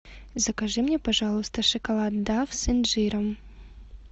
закажи мне пожалуйста шоколад дав с инжиром